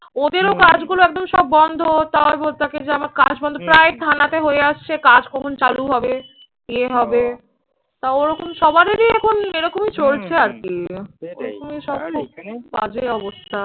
ওদেরও কাজগুলো একদম সব বন্ধ তার উপর তাকে প্রায় থানাতে হয়ে আসছে। কাজ কখন চালু হবে কে হবে? তা ওরকম সবারই এখন এরকমই চলছে আরকি। বাজে অবস্থা